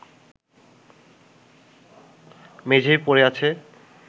মেঝেয় পড়ে আছে